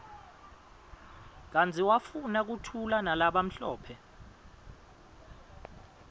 kanti wafuna kuthulanalabamhlophe